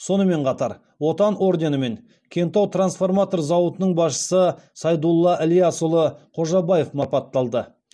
сонымен қатар отан орденімен кентау трансформатор зауытының басшысы сайдулла ілиясұлы қожабаев марапатталды